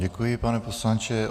Děkuji, pane poslanče.